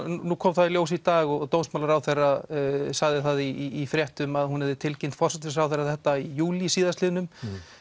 nú kom það í ljós í dag og dómsmálaráðherra sagði það í fréttum að hún hefði tilkynnt forsætisráðherra þetta í júlí síðastliðnum